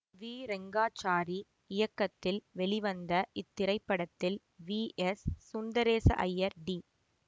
we Rengachari இயக்கத்தில் வெளிவந்த இத்திரைப்படத்தில் V S Sundaresa Iyer D